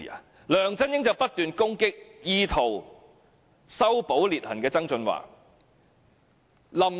接着，梁振英便不斷攻擊意圖修補裂痕的曾俊華。